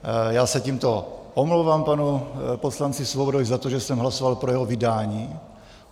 Já se tímto omlouvám panu poslanci Svobodovi za to, že jsem hlasoval pro jeho vydání.